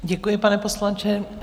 Děkuji, pane poslanče.